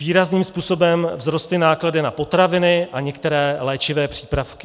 Výrazným způsobem vzrostly náklady na potraviny a některé léčivé přípravky.